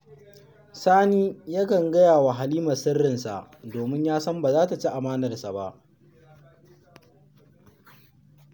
Sani yakan gaya wa Halima sirrinsa saboda ya san ba za ta ci amanarsa ba